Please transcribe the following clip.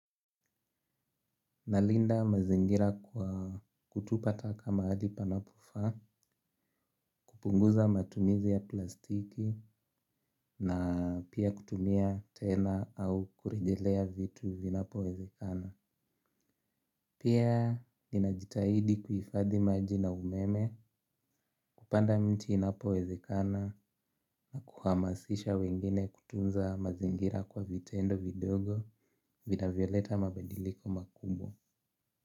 Nalinda mazingira kwa kutupa taka mahali panapo faa, kupunguza matumizi ya plastiki na pia kutumia tena au kurejelea vitu vinapo wezekana. Pia ninajitahidi kuhifadhi maji na umeme kupanda mti inapo wezekana na kuhamasisha wengine kutunza mazingira kwa vitendo vidogo vinavyoleta mabadiliko makubwa.